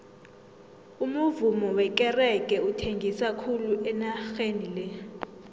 umuvummo wekerege uthengisa khulu enageni le